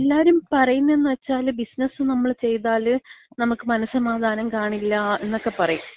പിന്നെ എല്ലാരും പറയുന്നെന്ന് വച്ചാല്, ബിസിനസ് നമ്മള് ചെയ്താല് നമുക്ക് മനസ്സമാധാനം കാണില്ല എന്നൊക്ക പറയും.